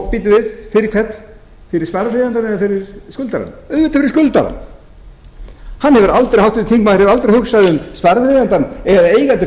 bíddu við fyrir hvern fyrir sparifjáreigendur eða fyrir skuldarana auðvitað fyrir skuldarann háttvirtur þingmaður hefur aldrei hugsað um sparifjáreigandann eða eigendur